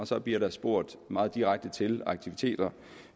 så bliver der spurgt meget direkte til aktiviteter